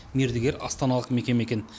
мердігер астаналық мекеме екен